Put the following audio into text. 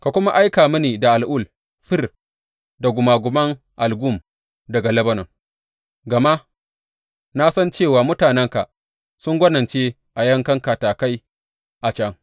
Ka kuma aika mini al’ul, fir da gumaguman algum daga Lebanon, gama na san cewa mutanenka sun gwanince a yakan katakai a can.